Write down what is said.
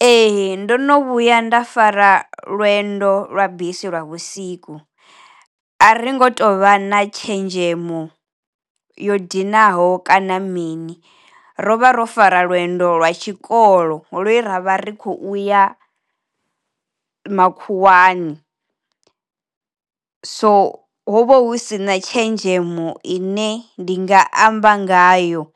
Ee ndo no vhuya nda fara lwendo lwa bisi lwa vhusiku, a ri ngo tovha na tshenzhemo yo dinaho kana mini ro vha ro fara lwendo lwa tshikolo lwe ravha ri kho uya makhuwani. So ho vha hu si na tshenzhemo ine ndi nga amba ngayo